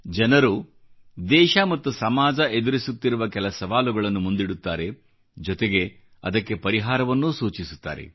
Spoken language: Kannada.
ಜನರು ದೇಶ ಮತ್ತು ಸಮಾಜ ಎದುರಿಸುತ್ತಿರುವ ಕೆಲ ಸವಾಲುಗಳನ್ನು ಮುಂದಿಡುತ್ತಾರೆ ಜೊತೆಗೆ ಅದಕ್ಕೆ ಪರಿಹಾರವನ್ನೂ ಸೂಚಿಸುತ್ತಾರೆ